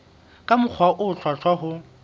ka mokgwa o hlwahlwa ho